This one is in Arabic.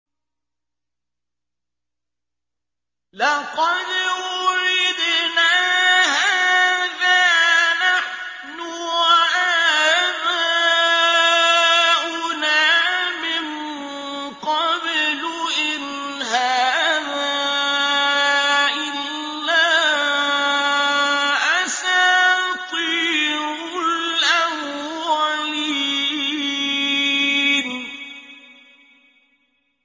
لَقَدْ وُعِدْنَا هَٰذَا نَحْنُ وَآبَاؤُنَا مِن قَبْلُ إِنْ هَٰذَا إِلَّا أَسَاطِيرُ الْأَوَّلِينَ